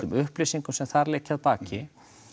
upplýsingum sem þar liggja að baki